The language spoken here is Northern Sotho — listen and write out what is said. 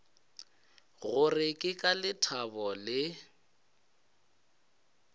gore ke ka lethabo le